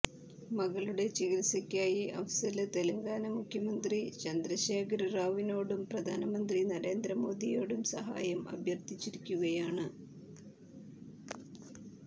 മകളുടെ ചികിത്സയ്ക്കായി അഫ്സല് തെലങ്കാന മുഖ്യമന്ത്രി ചന്ദ്രശേഖര് റാവുവിനോടും പ്രധാനമന്ത്രി നരേന്ദ്ര മോദിയോടും സഹായം അഭ്യര്ത്ഥിച്ചിരിക്കുകയാണ്